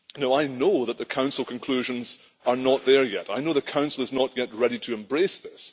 I know that the Council conclusions are not there yet. I know the Council is not yet ready to embrace this